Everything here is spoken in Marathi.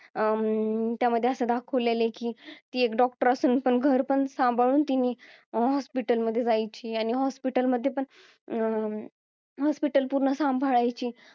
अं त्यामध्ये असं दाखवलेला आहे की एक डॉक्टर असून पण घर पण सांभाळून तिन्ही hospital मध्ये जायची आणि hospital मध्ये पण अं hospital पूर्ण सांभाळायची